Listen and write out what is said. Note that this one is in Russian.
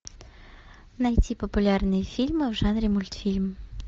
найти популярные фильмы в жанре мультфильм